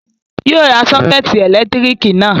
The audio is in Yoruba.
Yóò ra sọ́kẹ́tì ẹ̀lẹ́tíríkì náà